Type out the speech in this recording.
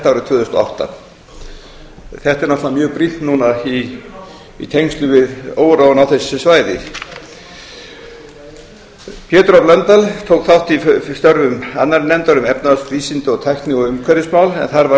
árið tvö þúsund og átta þetta er náttúrelga mjög brýnt núna í tengslum við óróann á þessu svæði pétur h blöndal tók þátt í störfum annarrar nefndar um efnahags vísinda tækni og umhverfismál en þar var